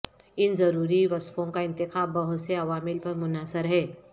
ان ضروری وصفوں کا انتخاب بہت سے عوامل پر منحصر ہے